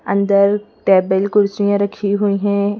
अंदर टेबल कुर्सियाँ रखी हुई हैं।